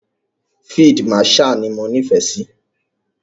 Field marshal ni mo nífẹ̀ẹ́ sí.